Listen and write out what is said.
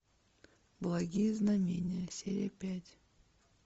благие знамения серия пять